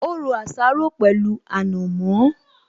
Ó ro àsáró pẹ̀lú ànàmọ́